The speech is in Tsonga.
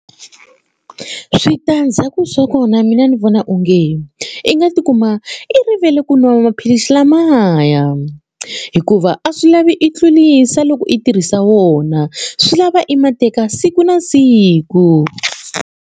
Switandzhaku swa kona mina ndzi vona onge i nga tikuma i rivele ku nwa maphilisi lamaya hikuva a swi lavi i tlurisa loko i tirhisa wona swi lava i ma teka siku na siku.